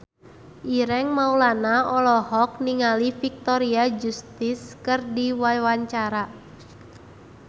Ireng Maulana olohok ningali Victoria Justice keur diwawancara